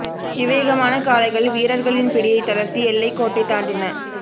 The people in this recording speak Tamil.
விவேகமான காளைகள் வீரர்களின் பிடியை தளர்த்தி எல்லை கோட்டை தாண்டின